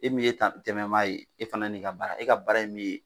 E min ye tantɛmɛ maa ye e n'i ka baara e ka baara ye min ye